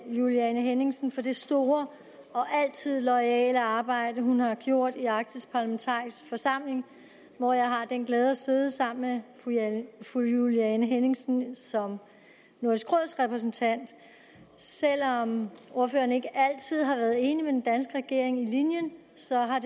juliane henningsen for det store og altid loyale arbejde hun har gjort i den arktiske parlamentariske forsamling hvor jeg har den glæde at sidde sammen med fru juliane henningsen som nordisk råds repræsentant selv om ordføreren ikke altid har været enig med den danske regering i linjen så har